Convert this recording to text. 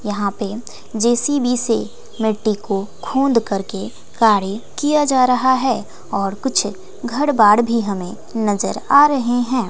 यहां पे जे_सी_बी से मिट्टी को खुंद करके कार्य किया जा रहा है और कुछ घर बार भी हमें नजर आ रहे हैं।